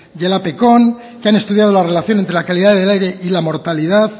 y el que han estudiado la relación entre la calidad del aire y la mortalidad